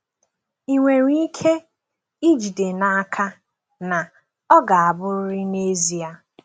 Ị nwere ike ijide n’aka, na, ọ ga-abụrịrị n’ezie!